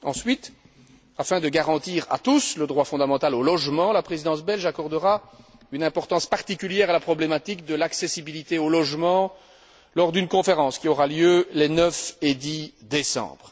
Ensuite, afin de garantir à tous le droit fondamental au logement, la Présidence belge accordera une importance particulière à la problématique de l'accessibilité au logement lors d'une conférence qui aura lieu les 9 et 10 décembre.